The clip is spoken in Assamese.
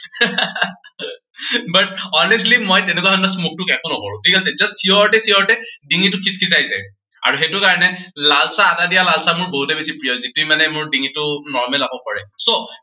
but honestly মই তেনেকুৱা ধৰণৰ smoke তিস্মক একো নকৰো, ঠিক আছে, just চিঞৰোতে চিঞৰোতে ডিঙিটো খিচখিচাই যায়। আৰু সেইটো কাৰনে, লাল চাহ, আদা দিয়া লাল চাহ মোৰ বহুতেই বেছি প্ৰিয়, যিখিনিয়ে মানে মোৰ ডিঙিটো normal আকৌ কৰে। so